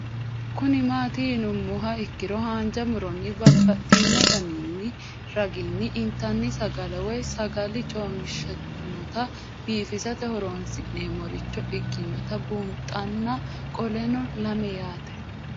Kuni mati yinumoha ikiro hanja muroni babaxino daninina ragini intani sagale woyi sagali comishatenna bifisate horonsine'morich ikinota bunxana qoleno lame yaate